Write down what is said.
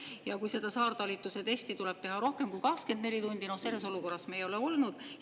Ja kui seda saartalitluse testi tuleb teha rohkem kui 24 tundi, selles olukorras me ei ole olnud.